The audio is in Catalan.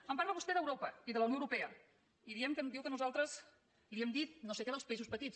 em parla vostè d’europa i de la unió europea i diu que nosaltres li hem dit no sé què dels països petits